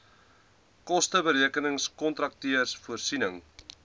kosteberekenings kontakteurs voorsiening